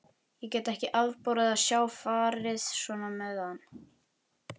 Ég gat ekki afborið að sjá farið svona með hann.